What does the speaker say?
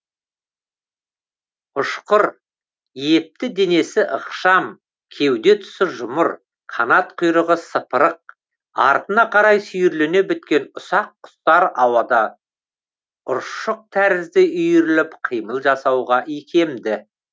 ұшқыр епті денесі ықшам кеуде тұсы жұмыр қанат құйрығы сыпырық артына қарай сүйірлене біткен ұсақ құстар ауада ұршық тәрізді үйіріліп қимыл жасауға икемді